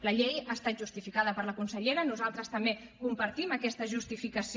la llei ha estat justificada per la consellera nosaltres també compartim aquesta justificació